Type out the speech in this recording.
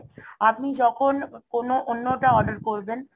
আপনি যখন কোনো অন্য টা order করবেন